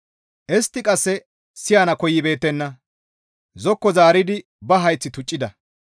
«Istti qasse siyana koyibeettenna; zokko zaaridi ba hayth tuccida.